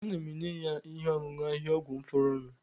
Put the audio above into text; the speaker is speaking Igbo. Ana m enye ya ihe ọṅụṅụ ahịhịaọgwụ m fọdụrụnụ